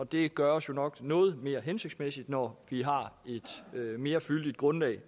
det gøres jo nok noget mere hensigtsmæssigt når vi har et mere fyldigt grundlag